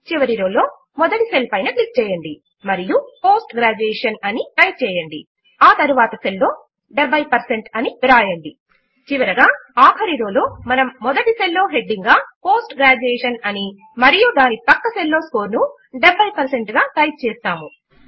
చివరగా ఆఖరి రో లో మనము మొదటి సెల్ లో హెడింగ్ గా పోస్ట్ గ్రాడ్యుయేషన్ అని మరియు దాని ప్రక్క సెల్ లో స్కోర్ ను 70 పెర్సెంట్ గా టైప్ చేస్తాము